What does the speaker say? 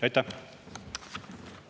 Aitäh!